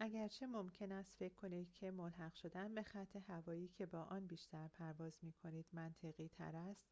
اگرچه ممکن است فکر کنید که ملحق شدن به خط‌هوایی که با آن بیشتر پرواز می‌کنید منطقی‌تر است